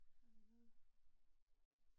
Har vi noget?